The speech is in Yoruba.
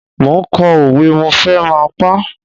Mo ń kọ òwe, mo fẹ́ máa pá.